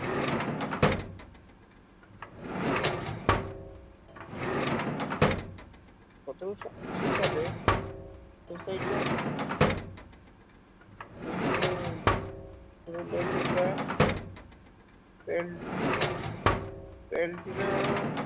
সতেরশ আশি সালে geologic এল্টিনা